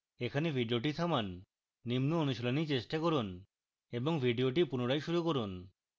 এখানে video থামান নিম্ন অনুশীলনী চেষ্টা করুন এবং video পুনরায় শুরু করুন